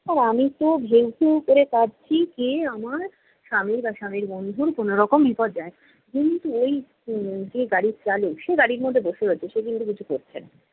আর আমি তো ভেউ ভেউ করে কাঁদছি কে আমার স্বামী বা স্বামীর বন্ধুর কোনো রকম বিপদ যায়! কিন্তু, ঐ উম যে গাড়ির চালক সে গাড়ির মধ্যে বসে রয়েছে, সে কিন্তু কিছু করছে না।